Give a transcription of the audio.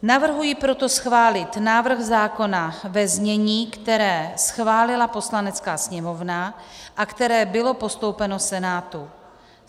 Navrhuji proto schválit návrh zákona ve znění, které schválila Poslanecká sněmovna a které bylo postoupeno Senátu.